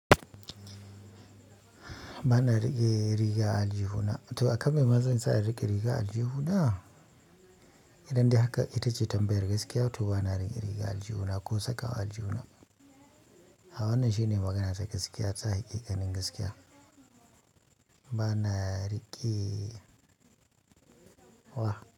Ba na riƙe riga a aljihuna. To akan mai ma zansa in riƙe riga aljihuna? Idan dai haka ita ce tambayar gaskiya to ba na riƙe riga aljihuna ko saka aljihuna. Ha wannan shine magana ta gaskiya, ta hiƙikanin gaskiya. Ba na riƙe wa.